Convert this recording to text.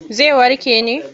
Zai warke ne.